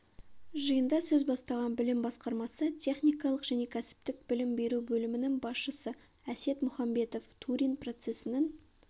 жиында сөз бастаған білім басқармасы техникалық және кәсіптік білім беру бөлімінің басшысы әсет мұханбетов турин процесінің